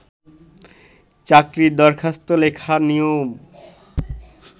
চাকরির দরখাস্ত লেখার নিয়ম